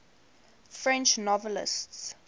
french novelists